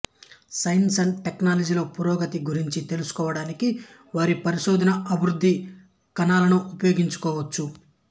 science and టెక్నాలజీలో పురోగతి గురించి తెలుసుకోవడానికి వారి పరిశోధన అభివృద్ధి కణాలను ఉపయోగించవచ్చు